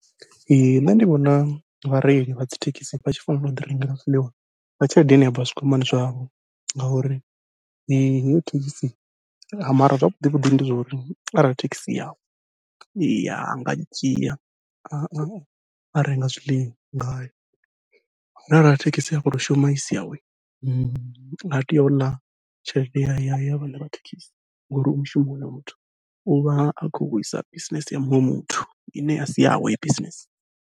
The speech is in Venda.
Ee nṋe ndi vhona vhareili vha dzi thekhisi vha tshi fanela u ḓi rengela zwiḽiwa nga tshelede ine ya bva zwikwamani zwavho, ngauri heyi thekhisi mara zwavhuḓi vhuḓi ndi zwa uri arali thekhisi I yawe anga dzhia a a renga zwiḽiwa ngayo, zwino arali thekhisi a khou to shuma isi yawe ha tei u ḽa tshelede ya ya ya vhaṋe vha thekhisi ngori u mushumoni hoyo muthu, uvha a khou wisa bisinese ya muṅwe muthu ine a si yawe heyo bisinese.